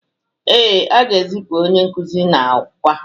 Ee, a ga-ezipu onye nkuzi n’Awka